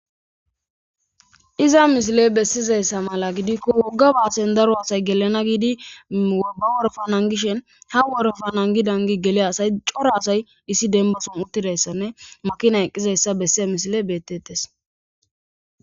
Iza misiey besizayssa mala gidiko woga baasen daro asay gelana giidi ba worofa nangishin ha worofa nangi nangi geliya cora asay issi dembason uttidaysanne makina eqqidayssa besiya misiley beetetes.